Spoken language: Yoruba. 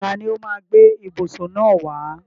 Tani ó máa gbé ìbùsùn náà wá?